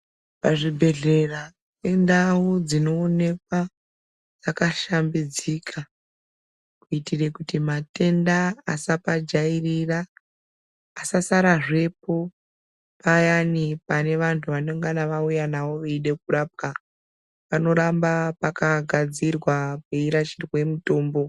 Pazvibhebhedhlera indau dzinoonekwa dzakashambidzika kuitire kuti matenda asapajairira pasasarazvepo payani panevantu vanengana vauya navo veida kurapwa panoramba pakagadzirwa peirashirwe mutombo.